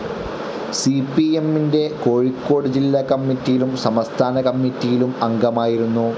C P M ൻ്റെ കോഴിക്കോട് ജില്ലാക്കമ്മിറ്റിയിലും സംസ്ഥാന കമ്മിറ്റിയിലും അംഗമായിരുന്നു.